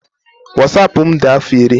Wasapụ m dị afọ iri.